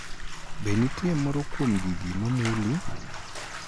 Be nitie moro kuom gigi ma muli?